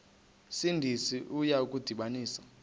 sindisi uya kubasindisa